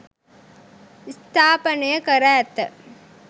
ස්ථාපනය කර ඇත.